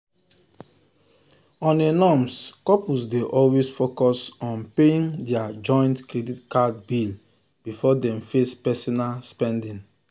on a norms couples dey always focus on paying their joint credit card bill before dem face personal spending.